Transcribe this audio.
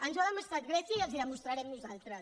ens ho ha demostrat grècia i els ho de·mostrarem nosaltres